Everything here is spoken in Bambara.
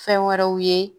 Fɛn wɛrɛw ye